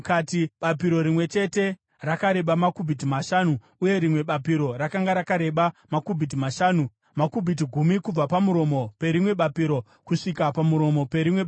Bapiro rimwe chete rekerubhi rokutanga rakanga rakareba makubhiti mashanu, uye rimwe bapiro rakanga rakareba makubhiti mashanu, makubhiti gumi kubva pamuromo perimwe bapiro kusvika pamuromo perimwe bapiro.